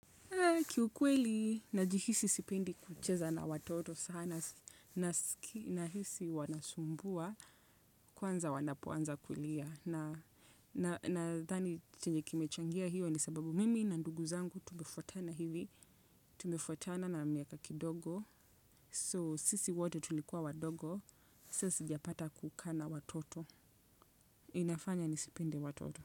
Kiukweli najihisi sipinde kucheza na watoto sana nahisi wanasumbua kwanza wanapoanza kulia. Nadhani chenye kimechangia hiyo ni sababu mimi na ndugu yangu tumefuatana hivi, tumefuatana na miaka kidogo So sisi wote tulikuwa wadogo. Sasa sijapata kukaa na watoto. Inafanya nisipende watoto.